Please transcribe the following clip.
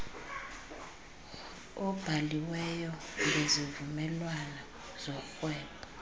obhaliweyo ngezivumelwano zorhwebo